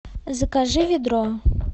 закажи ведро